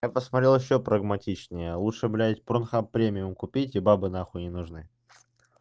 я посмотрел ещё прагматичнее лучше блядь пронхаб премиум купить и бабы нахуй не нужны